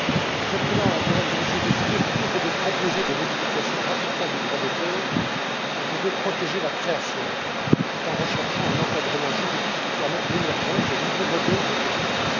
Monsieur le Président, Mesdames et Messieurs les députés, plutôt que de proposer des modifications radicales du droit d'auteur, je veux protéger la création tout en recherchant un encadrement juridique qui permette l'émergence de nouveaux modèles économiques.